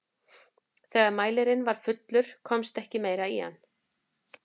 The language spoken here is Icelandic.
þegar mælirinn var fullur komst ekki meira í hann